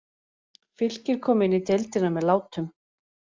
Fylkir kom inn í deildina með látum.